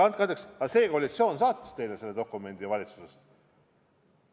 Andke andeks, aga koalitsioon saatis teile selle dokumendi valitsusest.